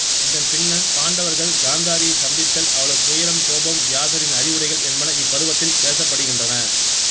இதன் பின்னர் பாண்டவர்கள் காந்தாரியைச் சந்தித்தல் அவளது துயரம் கோபம் வியாசரின் அறிவுரைகள் என்பன இப்பருவத்தில் பேசப்படுகின்றன